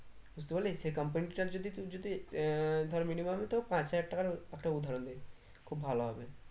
বুঝতে পারলি সেই কোম্পানি টার যদি তুই যদি আহ minimum তোর পাঁচ হাজার টাকার একটা উদাহরণ দি খুব ভালো হবে